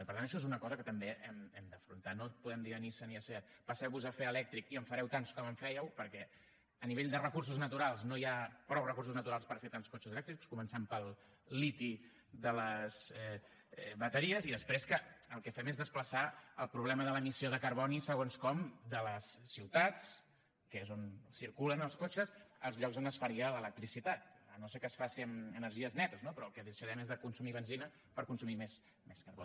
i per tant això és una cosa que també hem d’afrontar no podem dir a nissan i a seat passeu vos a fer elèctric i en fareu tants com en fèieu perquè a nivell de recursos naturals no hi ha prou recursos naturals per fer tants cotxes elèctrics començant pel liti de les bateries i després que el que fem és desplaçar el problema de l’emissió de carboni segons com de les ciutats que és on circulen els cotxes als llocs on es faria l’electricitat si no és que es fa amb energies netes no però el que deixarem és de consumir benzina per consumir més carbó